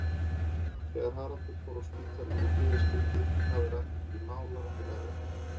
Þegar Haraldur fór á spítalann í þriðja skipti náði Ragnhildur í málara fyrir efri hæðina.